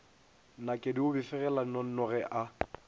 nakedi o befegela nnonoge a